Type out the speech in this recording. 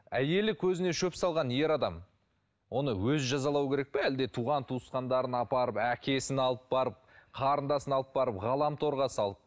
әйелі көзіне шөп салған ер адам оны өзі жазалау керек пе әлде туған туысқандарын апарып әкесін алып барып қарындасын алып барып ғаламторға салып